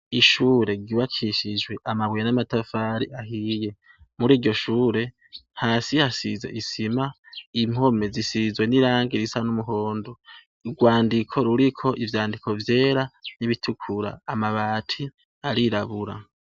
Ishure, ryubakishijwe amabuye n'amatafari, muriryo shure hasi hasize isima, impome zisizwe n'irangi risa n'umuhondo. Urwandiko ruriko ivyandiko vyera n'ibitukura, amabati arirabura.